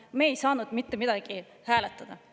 Me ei saanud mitte midagi hääletada.